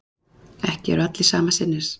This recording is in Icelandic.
Ekki eru allir sama sinnis